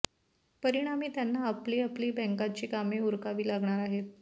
परिणामी त्यांना आपली आपली बँकांची कामे उरकावी लागणार आहेत